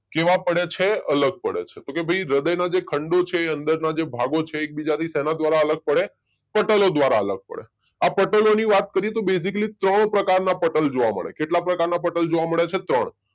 કેવા પડે છે? અલગ પડે છે. કે ભાઈ હૃદયના જે ખંડો છે અંદર નાં જે ભાગો છે એકબીજાથી શેના દ્વારા અલગ પડે? પટલો દ્વારા અલગ પડે. આ પટલોની વાત કરીએ તો બેઝીકલી ત્રણ પ્રકારના પટલ જોવા મળે, કેટલા પ્રકારના પટલ જોવા મળે છે? ત્રણ